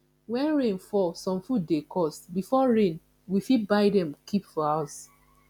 when rain fall some food dey cost before rain we fit buy dem keep for house